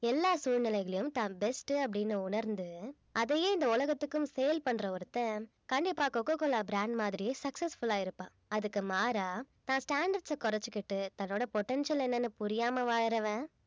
எல்லா சூழ்நிலைகளிலும் தான் best உ அப்படின்னு உணர்ந்து அதையே இந்த உலகத்துக்கும் sale பண்ற ஒருத்தன் கண்டிப்பா கோகோ கோலா brand மாதிரியே successful ஆ இருப்பான் அதுக்கு மாறா தான் standards அ குறைச்சுக்கிட்டு தன்னோட potential என்னன்னு புரியாம வாழுறவன்